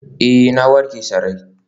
Ee, na warke sarai.